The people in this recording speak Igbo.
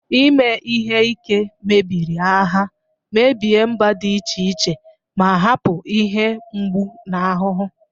Ime ihe ike mebiri agha, mebie mba dị iche iche, ma hapụ ihe mgbu na ahụhụ.